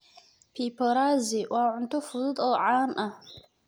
Pipporazi waa cunto fudud oo caan ah.